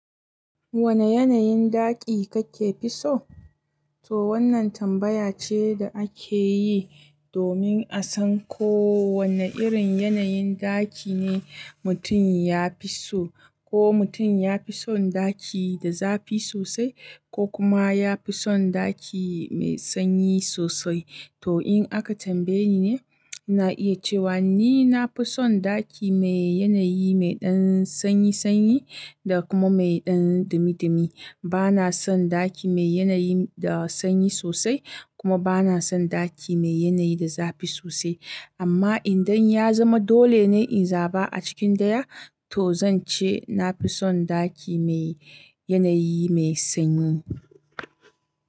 Wane yanayin ɗaki kake fi so? To wannan tambaya ce da ake yi domin a san ko wane irin yanayin ɗaki ne mutum ya fi so. Ko mutum ya fi son ɗaki da zafi sosai, ko kuma ya fi son ɗaki mai sanyi sosai. To in aka tambaye ni, na iya cewa ni na fi son ɗaki mai yanayi mai ɗan sanyi sanyi da kuma mai ɗan dumi dumi. Bana son ɗaki mai yanayi da sanyi sosai, kuma bana son ɗaki mai yanayi da zafi sosai. Amma idan ya zama dole ne in zaba a cikin daya, to zan ce na fi son ɗaki mai yanayi mai sanyi.